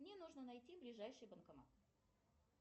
мне нужно найти ближайший банкомат